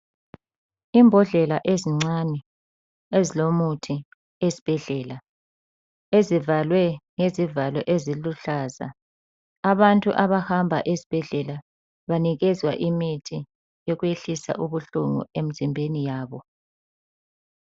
Imbodlela ezincane ezilomuthi esibhedlela ezivalwe ngezivalo eziluhlaza abantu abahamba ezibhedlela banikezwa imithi yokwehlisa ubuhlungu emzimbeni yabo.